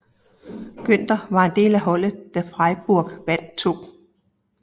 Günter var del af holdet da Freiburg vandt 2